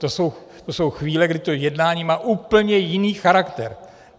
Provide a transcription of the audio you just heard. To jsou chvíle, kdy to jednání má úplně jiný charakter.